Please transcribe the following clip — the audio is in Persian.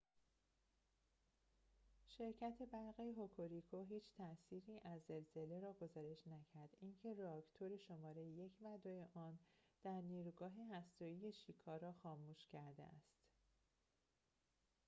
شرکت برق هوکوریکو هیچ تاثیری از زلزله را گزارش نکرد اینکه راکتور شماره ۱ و ۲ آن در نیروگاه هسته ای شیکا را خاموش کرده است